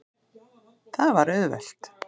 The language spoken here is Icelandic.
Það var auðvelt.